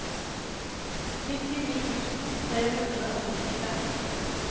nittini tusen tre hundre og nittifem